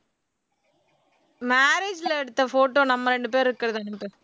marriage ல எடுத்த photo நம்ம ரெண்டு பேர் இருக்கறது அனுப்பு